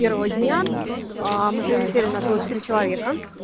первого дня мы прилетели нас было четыре человека